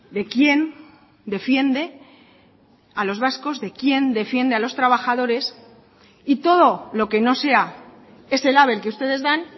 de quién defiende a los vascos de quién defiende a los trabajadores y todo lo que no sea ese label que ustedes dan